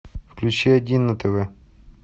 включи один на тв